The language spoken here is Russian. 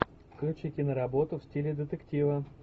включи киноработу в стиле детектива